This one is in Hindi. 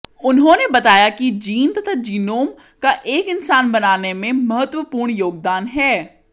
उन्होंने बताया कि जीन तथा जीनोम का एक इंसान बनाने में महत्वपूर्ण योगदान है